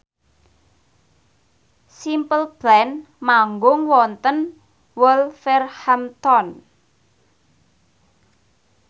Simple Plan manggung wonten Wolverhampton